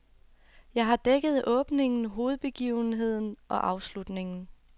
Jeg har dækket åbningen, hovedbegivenheden og afslutningen.